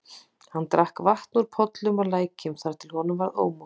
Hann drakk vatn úr pollum og lækjum þar til honum varð ómótt.